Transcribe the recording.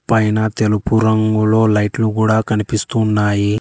పైన తెలుపు రంగులో లైట్లు గూడా కనిపిస్తూ ఉన్నాయి.